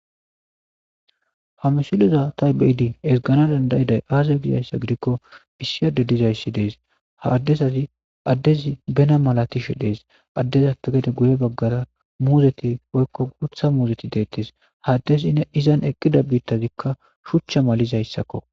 Ha misileza ta be'ada ezganaw danddayiday aazee gozayssa gidikko issi adde dizayssi dees ha addeziizi ha addezi bena maatishe dees addezappe geddeguye baggara muuzettii woykko guuththa muuzetti dettes ha addezii izan eeqida biittazikka shuuchcha malizayssakko